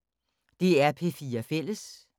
DR P4 Fælles